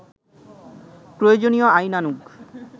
প্রয়োজনীয় আইনানুগ